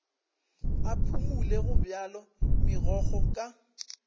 a phumole gobjalo megokgo ka